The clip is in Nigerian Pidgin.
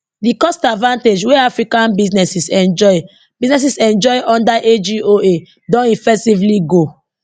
di cost advantage wey african businesses enjoy businesses enjoy under agoa don effectively go